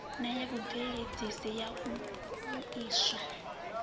ya vhubveledzi ya u vhuiswa